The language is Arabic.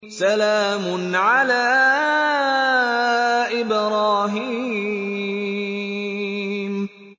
سَلَامٌ عَلَىٰ إِبْرَاهِيمَ